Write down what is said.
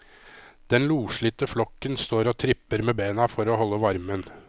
Den loslitte flokken står og tripper med bena for å holde varmen.